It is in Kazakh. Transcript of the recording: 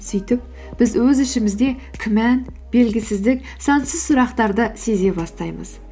сөйтіп біз өз ішімізде күмән белгісіздік сансыз сұрақтарды сезе бастаймыз